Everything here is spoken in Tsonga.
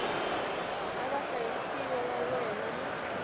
na vahlayisiwa va wena mi